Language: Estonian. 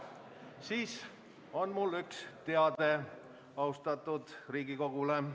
Mul on üks teade austatud Riigikogule.